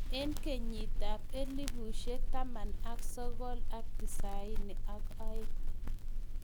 Eng kenyitab 1992.